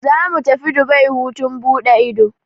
Zamu tafi Dubai hutun buɗe ido.